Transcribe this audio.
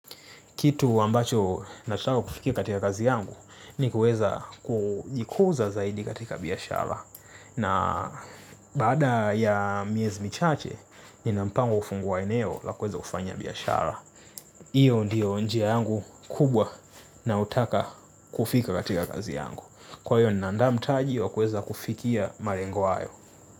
Kitu ambacho nachotaka kufikia katika kazi yangu ni kuweza kujikuza zaidi katika biashara. Na baada ya miezi michache, nina mpango wa kufungua eneo la kueza kufanya biyashara. Iyo ndiyo njia yangu kubwa na utaka kufika katika kazi yangu. Kwa hiyo, na andaa mtaji wa kuweza kufikia malengo hayo.